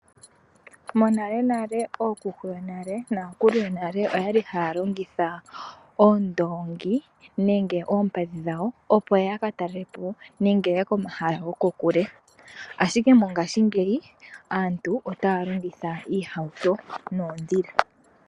Monale nale ookuku oynale nakulu yonale oyali haya longitha oondongi nenge oompadhi dhawo opo yaka talelepo nenge yaye komahala goko kule ashike mongaashi ngeyi aantu otaya longitha iihawuto noondhila.